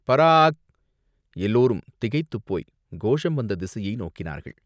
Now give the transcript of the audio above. பராக்!" எல்லோரும் திகைத்துப் போய்க் கோஷம் வந்த திசையை நோக்கினார்கள்.